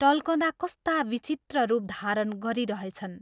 टल्कँदा कस्ता विचित्र रूप धारण गरिरहेछन्।